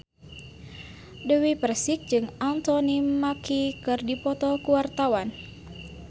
Dewi Persik jeung Anthony Mackie keur dipoto ku wartawan